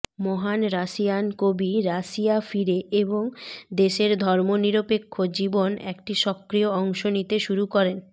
মহান রাশিয়ান কবি রাশিয়া ফিরে এবং দেশের ধর্মনিরপেক্ষ জীবন একটি সক্রিয় অংশ নিতে শুরু করেন